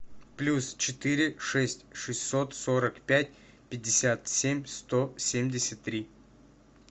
плюс четыре шесть шестьсот сорок пять пятьдесят семь сто семьдесят три